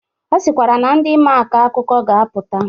Ọ sịkwara na ndi maa akọ akụkọ ga-apụta.